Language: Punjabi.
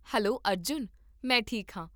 ਹੈਲੋ ਅਰਜੁਨ, ਮੈਂ ਠੀਕ ਹਾਂ